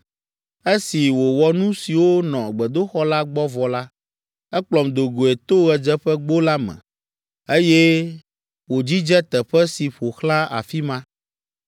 Esi wòwɔ nu siwo nɔ gbedoxɔ la gbɔ vɔ la, ekplɔm do goe to ɣedzeƒegbo la me, eye wòdzidze teƒe si ƒo xlã afi ma.